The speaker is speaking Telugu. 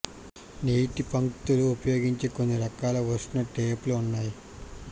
నీటి పంక్తులు ఉపయోగించే కొన్ని రకాల ఉష్ణ టేప్లు ఉన్నాయి